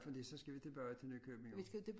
Fordi så skal vi tilbage til Nykøbing også